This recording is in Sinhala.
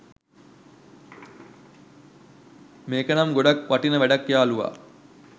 මේකනම් ගොඩක් වටින වැඩක් යාළුවා!